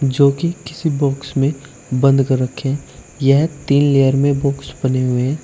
जो कि किसी बॉक्स में बंद कर रखे हैं यह तीन लेयर में बॉक्स बने हुए हैं।